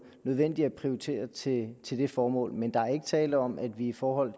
nødvendige at prioritere til til det formål men der er ikke tale om at vi i forhold